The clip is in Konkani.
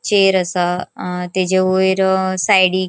चैर असा अ तेजे वैर अ साइडिक --